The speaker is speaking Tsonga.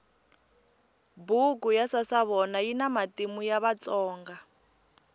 buku ya sasavona yina matimu ya vatsonga